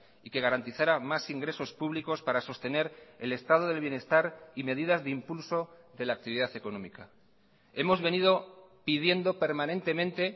y que garantizara más ingresos públicos para sostener el estado del bienestar y medidas de impulso de la actividad económica hemos venido pidiendo permanentemente